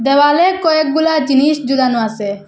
দেওয়ালে কয়েকগুলা জিনিস ঝুলানো আসে।